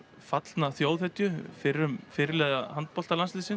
fallna þjóðhetju fyrrum fyrirliða